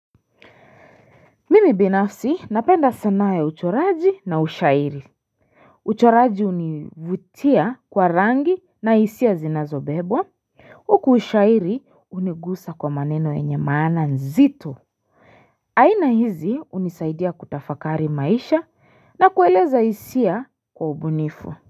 Mimi binafsi napenda sanaa ya uchoraji na ushairi uchoraji hunivutia kwa rangi na hisia zinazobebwa Huku ushairi hunigusa kwa maneno yenye maana nzito aina hizi hunisaidia kutafakari maisha na kueleza hisia kwa ubunifu.